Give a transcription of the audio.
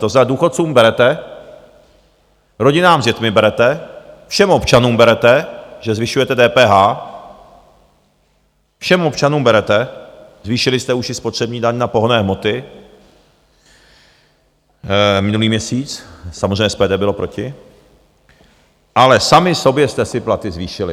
To znamená, důchodcům berete, rodinám s dětmi berete, všem občanům berete, že zvyšujete DPH, všem občanům berete, zvýšili jste už i spotřební daň na pohonné hmoty minulý měsíc, samozřejmě SPD bylo proti, ale sami sobě jste si platy zvýšili.